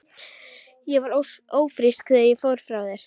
Ég var ófrísk þegar ég fór frá þér.